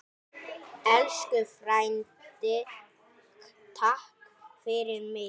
Elsku frændi, takk fyrir mig.